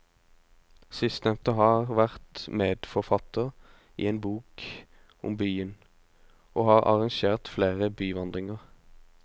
Sistnevnte har vært medforfatter i en bok om byen, og har arrangert flere byvandringer.